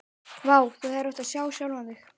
Vá, þú hefðir átt að sjá sjálfan þig.